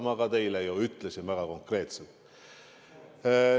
Seda ma teile ütlesin väga konkreetselt.